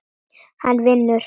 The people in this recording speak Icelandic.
Hann vinur.